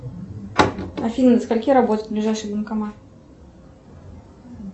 афина до скольки работает ближайший банкомат